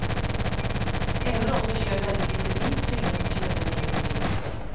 Även de som kör väldigt lite tvingas att köpa en egen bil.